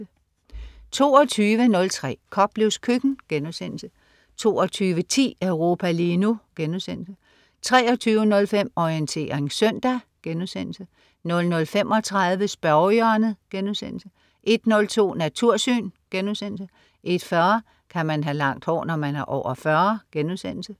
22.03 Koplevs køkken* 22.10 Europa lige nu* 23.05 Orientering søndag* 00.35 Spørgehjørnet* 01.02 Natursyn* 01.40 Kan man have langt hår, når man er over 40?*